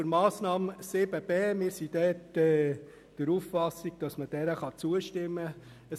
Zur Massnahme 7.b: Wir sind der Auffassung, dass man der Massnahme zustimmen kann.